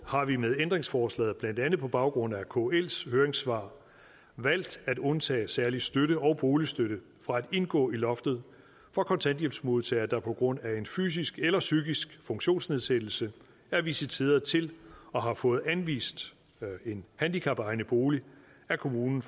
har vi med ændringsforslaget blandt andet på baggrund af kls høringssvar valgt at undtage særlig støtte og boligstøtte fra at indgå i loftet for kontanthjælpsmodtagere der på grund af en fysisk eller psykisk funktionsnedsættelse er visiteret til og har fået anvist en handicapegnet bolig af kommunen